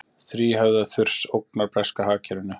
Þríhöfða þurs ógnar breska hagkerfinu